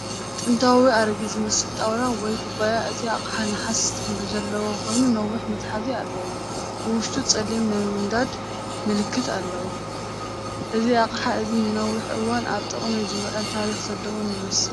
ጥንታዊን ኣረጊትን ዝመስል ጣውላ ወይ ኩባያ። እቲ ኣቕሓ ነሓስ ሕብሪ ዘለዎ ኮይኑ ነዊሕ መትሓዚ ኣለዎ። ብውሽጡ ጸሊም ናይ ምንዳድ ምልክት ኣሎ። እዚ ኣቕሓ እዚ ንነዊሕ እዋን ኣብ ጥቕሚ ዝውዕልን ታሪኽ ዘለዎን ይመስል።